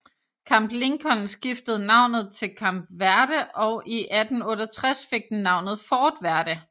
Camp Lincoln skiftede navnet til Camp Verde og i 1868 fik den navnet Fort Verde